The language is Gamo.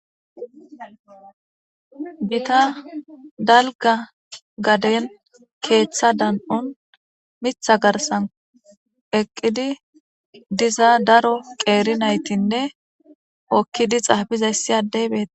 gita dalga gaden keeththa dan7un mitha garsan eqqidi diza daro qeeri naytinne okkidi xaabizayssi adey bei